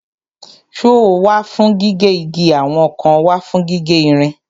Sọ́ọ̀ wà fún gígé igi àwọn kan wà fún gígé ìrìn.